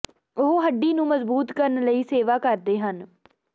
ਉਹ ਹੱਡੀ ਨੂੰ ਮਜ਼ਬੂਤ ਕਰਨ ਲਈ ਸੇਵਾ ਕਰਦੇ ਹਨ